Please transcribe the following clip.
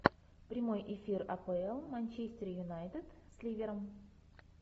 прямой эфир апл манчестер юнайтед с ливером